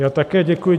Já také děkuji.